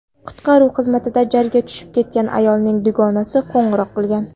Qutqaruv xizmatiga jarga tushib ketgan ayolning dugonasi qo‘ng‘iroq qilgan.